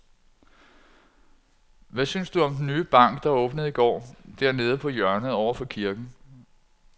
Hvad synes du om den nye bank, der åbnede i går dernede på hjørnet over for kirken?